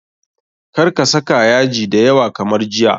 Kar ka saka yaji da yawa kamar jiya.